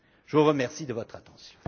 Je vous remercie de votre attention.